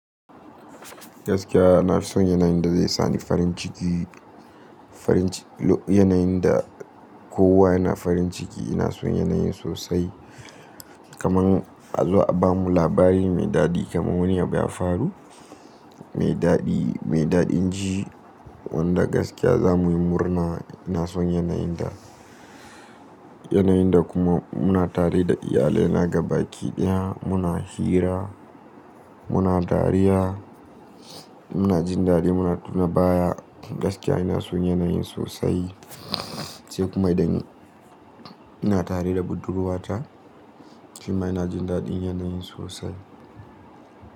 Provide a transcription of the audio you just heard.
Gaskiya na fi son yanayin da zai sa ni farin ciki, farin yanayin da kowa yana farin ciki. Ina son yanayin sosai. Kaman a zo a bamu labari mai daɗi kamar wani abu ya faru mai daɗi, mai daɗin ji wanda gaskiya za mu yi murna. Ina son yanayin da, yanayin da kuma muna tare da iyalai, na ga baki ɗaya, muna hira, muna dariya, muna jin daɗi, muna tuna baya. Gaskiya ina son yanayin sosai. Sai kuma idan ina tare da budurwata shima ina jin daɗin yanayin sosai.